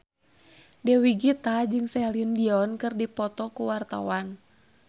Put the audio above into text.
Dewi Gita jeung Celine Dion keur dipoto ku wartawan